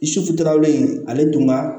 in ale dun ka